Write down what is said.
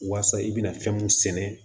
Waasa i bɛna fɛn mun sɛnɛ